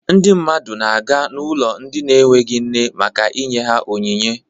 Ndị mmadụ na-aga n'ụlọ ndị enweghi nne maka inye ha onyinye.